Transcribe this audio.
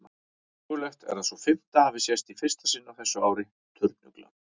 Mögulegt er að sú fimmta hafi sést í fyrsta sinn á þessu ári, turnuglan.